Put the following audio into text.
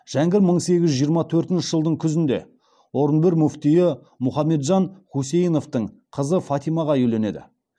жәңгір мың сегіз жүз жиырма төртінші жылдың күзінде орынбор муфтиі мұхамеджан хусейновтың қызы фатимаға үйленеді